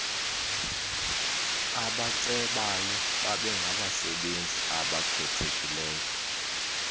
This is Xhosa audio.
abacebayo babengabasebenzi abakhethekileyo